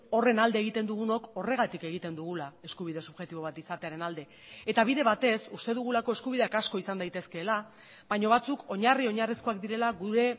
horren alde egiten dugunok horregatik egiten dugula eskubide subjektibo bat izatearen alde eta bide batez uste dugulako eskubideak asko izan daitezkeela baina batzuk oinarri oinarrizkoak direla gure